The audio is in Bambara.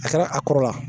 A kɛra a kɔrɔla